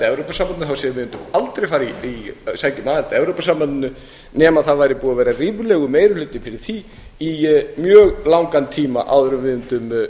evrópusambandinu þá segja þeir að þeir mundu aldrei sækja um aðild að evrópusambandinu nema það væri búinn að vera ríflegur meiri hluti fyrir því í mjög langan tíma áður en við mundum